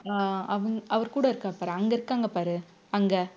அஹ் அவுங்~ அவர்கூட இருக்கார் பாரு அங்க இருக்காங்க பாரு அங்க